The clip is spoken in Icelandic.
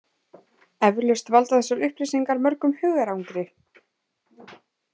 Eflaust valda þessar upplýsingar mörgum hugarangri.